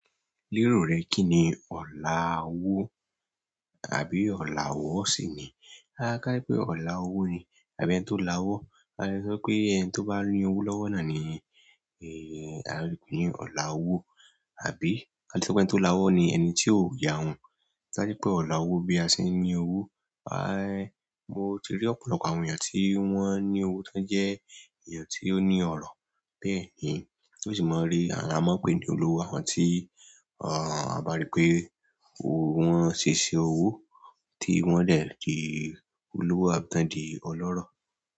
Lérò rẹ kí ni ọ̀laàwó àbí ọ̀laàwọ́ sì ni? A ká pé ọ̀laàwó ni, àbí ẹni tó lawọ́. A lè sọ pé ẹni tó bá ní owó lọ́wọ́ náà ni, eh, a lè pè ní ọ̀laàwó. Àbí a lè sọ pé ẹni tó lawọ́ ni ẹni tí ó yàhún. A sọ pé ọ̀laàwó bí a ṣe ń ní owó. Ah, mo ti rí ọ̀pọ̀lọpọ̀ àwọn èèyàn tí wọ́n ní owó tí wọ́n jẹ́ èèyàn tí ó ní ọrọ̀. Bẹ́ẹ̀ ni, a sì máa ń rí, à a máa ń pè ní olówó, àwọn tí, ah, a bá rí pé owo ṣe iṣẹ́ owó tí wọ́n lè di olówó àbí tá ń di ọlọ́rọ̀.